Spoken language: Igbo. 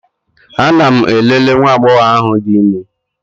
Ana m elele nwa agbọghọ ahụ dị ime.